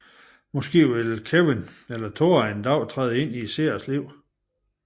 Måske vil enten Kewin eller Thora en dag træde ind i seernes liv